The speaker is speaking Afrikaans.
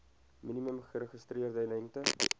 minimum geregistreerde lengte